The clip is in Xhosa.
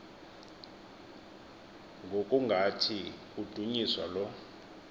ngokungathi kudunyiswa lo